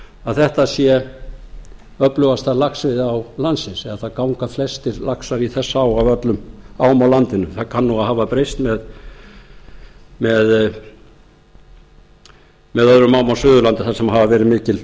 að þetta sé öflugasta laxveiðiá landsins eða það ganga flestir laxar í þessa á af öllum ám á landinu það kann að hafa breyst með öðrum